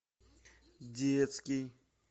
детский